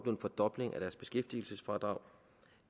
en fordobling af deres beskæftigelsesfradrag